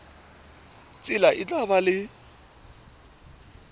tsela e tla ba le